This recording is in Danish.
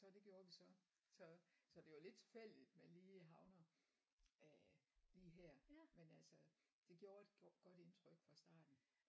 Så det gjorde vi så så så det var lidt tilfældigt man lige havner øh lige her men altså det gjorde et godt indtryk fra starten